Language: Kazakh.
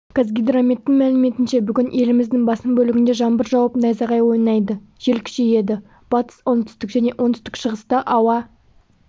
қазгидрометтің мәліметінше бүгін еліміздің басым бөлігінде жаңбыр жауып найзағай ойнайды жел күшейеді батыс оңтүстік және оңтүстік-шығыста ауа